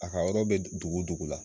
A ka yɔrɔ be dugu dugu la